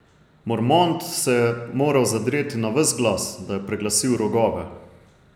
Mormont se je moral zadreti na ves glas, da je preglasil rogove.